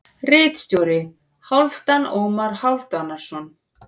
Ritstjóri: Hálfdan Ómar Hálfdanarson.